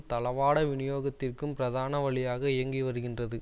தளவாட வினியோகத்திற்கும் பிரதான வழியாக இயங்கி வருகின்றது